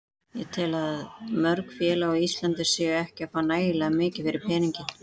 Ég tel að mörg félög á Íslandi séu ekki að fá nægilega mikið fyrir peninginn.